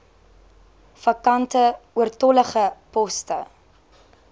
vakante oortollige poste